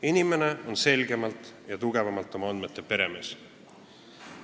Inimene on selgemalt ja rohkem oma andmete peremees.